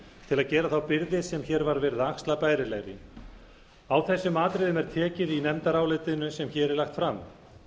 að gera þá byrði sem hér var verið að axla bærilegri á þessum atriðum er tekið í nefndarálitinu sem hér er lagt fram